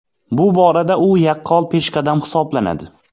Bu borada u yaqqol peshqadam hisoblanadi.